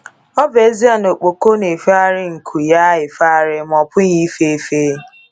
Ọ bụ ezie na okpoko n'efegharị nku ya efegharị, ma ọ pụghị ịfefe.